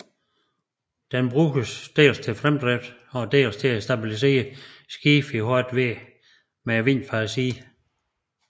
Det bruges dels til fremdrift og dels til at stabilisere skibet i hårdt vejr med vind fra siden